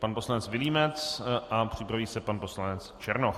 Pan poslanec Vilímec a připraví se pan poslanec Černoch.